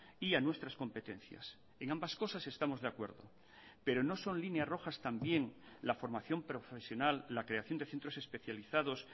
y a nuestras competencias en ambas cosas estamos de acuerdo pero no son líneas rojas también la formación profesional la creación de centros especializados